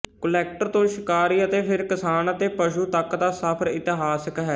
collector ਤੋਂ ਸ਼ਿਕਾਰੀ ਅਤੇ ਫਿਰ ਕਿਸਾਨ ਅਤੇ ਪਸ਼ੂ ਤੱਕ ਦਾ ਸਫ਼ਰ ਇਤਿਹਾਸਕ ਹੈ